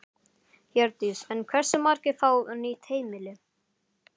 Hjördís: En hversu margir fá nýtt heimili?